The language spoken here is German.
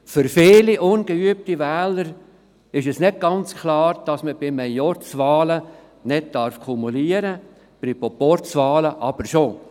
Für viele ungeübte Wähler ist es nicht ganz klar, dass man bei Majorzwahlen nicht kumulieren darf, bei Proporzwahlen hingegen schon.